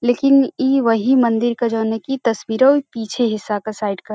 लेकिन इ वही मंदिर क जौने की तस्वीरौ पीछे हिस्सा क साइड क --